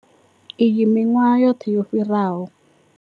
Iyi miṅwahani yoṱhe yo fhiraho.